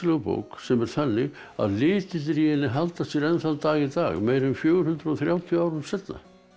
bók sem er þannig að litirnir í henni halda sér enn þann dag í dag meira en fjögur hundruð og þrjátíu árum seinna